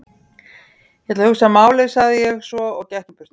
Ég ætla að hugsa málið sagði ég svo og gekk í burtu.